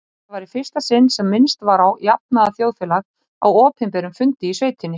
Þetta var í fyrsta sinn sem minnst var á jafnaðarþjóðfélag á opinberum fundi í sveitinni.